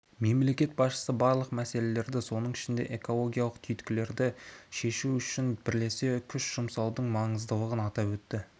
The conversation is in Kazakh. мемлекет басшысы барлық мәселелерді соның ішінде экологиялық түйткілдерді шешу үшін бірлесе күш жұмсаудың маңыздылығын атап өтті